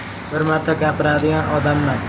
Bir marta gapiradigan odamman.